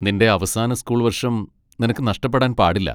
നിന്റെ അവസാന സ്കൂൾ വർഷം നിനക്ക് നഷ്ടപ്പെടാൻ പാടില്ല.